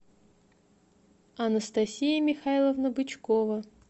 анастасия михайловна бычкова